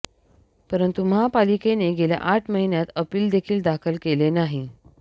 परंतु महापालिकेने गेल्या आठ महिन्यांत अपील देखील दाखल केले नाही